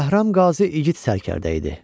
Bəhram Qazi igid sərkərdə idi.